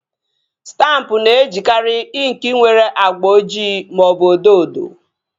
Stampụ na-ejikari inki nwere agba ojii maọbụ odo odo